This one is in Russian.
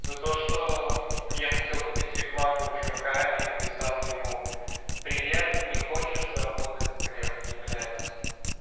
за то что я хотел купить рекламу у чувака и написал ему привет не хочешь заработать с ревки блядь